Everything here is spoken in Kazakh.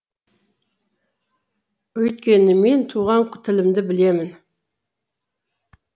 өйткені мен туған тілімді білемін